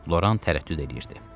Loran tərəddüd eləyirdi.